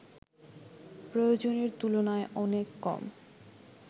প্রয়োজনের তুলনায় অনেক কম